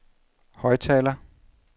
højttaler